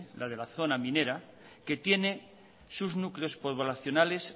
la de la zona minera que tiene sus núcleos poblacionales